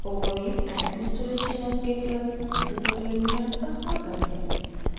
overview and installation of git पर spoken tutorial में आपका स्वागत है